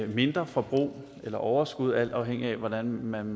mindre forbrug eller overskud alt afhængigt af hvordan man